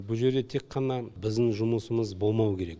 бұ жерде тек қана біздің жұмысымыз болмау керек